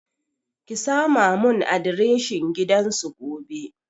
Ki sama mun adireshin gidan su gobe